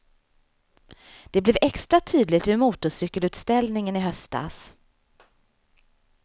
Det blev extra tydligt vid motorcykelutställningen i höstas.